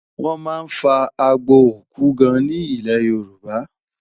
wón má fà àgbò òkú gaan ní ilẹ yorùbá